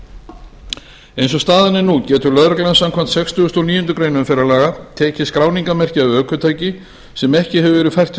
umferðinni eins og staðan er nú getur l lögreglan samkvæmt sextugustu og níundu greinar umferðarlaga tekið skráningarmerki af ökutæki sem ekki hefur verið fært til